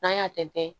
N'an y'a tɛntɛn